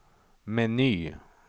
meny